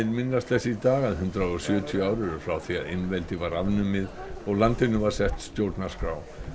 minnast þess í dag að hundrað og sjötíu ár eru frá því að einveldi var afnumið og landinu var sett stjórnarskrá